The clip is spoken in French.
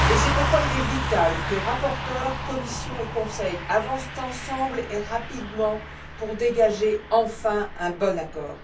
C'est pourquoi il est vital que rapporteurs, Commission et Conseil avancent ensemble et rapidement pour dégager enfin un bon accord.